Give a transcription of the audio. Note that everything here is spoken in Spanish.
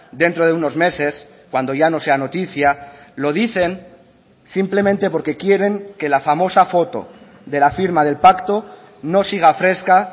dentro de unos meses cuando ya no sea noticia lo dicen simplemente porque quieren que la famosa foto de la firma del pacto no siga fresca